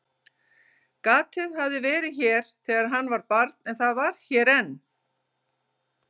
Gatið hafði verið hér þegar hann var barn og það var hér enn.